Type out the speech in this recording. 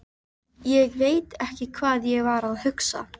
Ég veit ekki hvað ég var að hugsa.